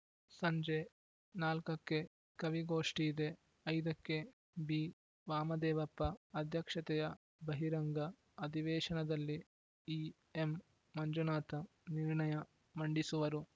ಸಂಜೆ ನಾಲ್ಕಕ್ಕೆ ಕವಿಗೋಷ್ಟಿಇದೆ ಐದಕ್ಕೆ ಬಿವಾಮದೇವಪ್ಪ ಅಧ್ಯಕ್ಷತೆಯ ಬಹಿರಂಗ ಅಧಿವೇಶನದಲ್ಲಿ ಇಎಂಮಂಜುನಾಥ ನಿರ್ಣಯ ಮಂಡಿಸುವರು